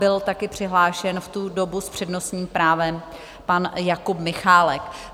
Byl také přihlášen v tu dobu s přednostním právem pan Jakub Michálek.